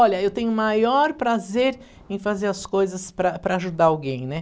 Olha, eu tenho o maior prazer em fazer as coisas para para ajudar alguém, né?